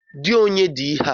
Di onye di ihe a?